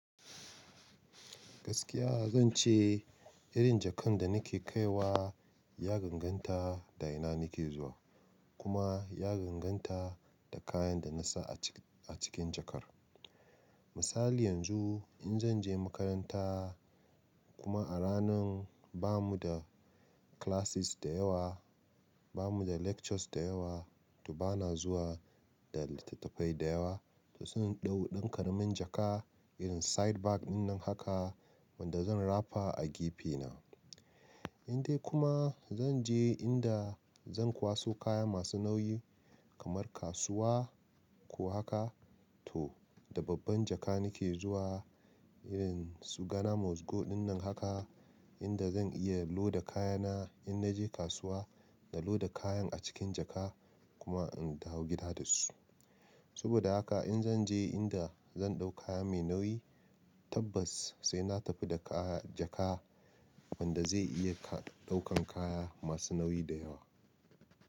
Gaskiya zan ce irin jakan da nake kaiwa ya danganta da ina nake zuwa kuma ya danganta da kayan da na sa a cikin jakar. Misali yanzu in zan je makaranta kuma a ranan ba mu da classes da yawa, ba mu da lectures da yawa to bana zuwa da littattafai da yawa. To zan ɗau ɗan karamin jaka irin side bag ɗinnan haka wanda zan rafa a gefena. In dai kuma zan je inda zan kwaso kaya masu nauyi kamar kasuwa ko haka to da babban jaka nake zuwa irin su Ghana mozgo ɗinnan haka inda zan iya loda kayana in naje kasuwa da loda kayan a cikin jaka kuma in taho gida da su. Saboda haka in zan je inda zan ɗau kaya mai nauyi tabbas sai na tafi da jaka wanda zai iya ɗaukan kaya masu nauyi da yawa.